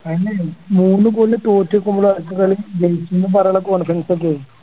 തന്നെ മൂന്ന് goal ന് തോറ്റ കളി ജയിച്ചുന്നും പറഞ്ഞ